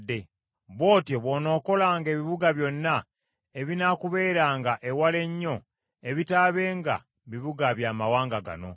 Bw’otyo bw’onookolanga ebibuga byonna ebinaakubeeranga ewala ennyo, ebitaabenga bibuga bya mawanga gano.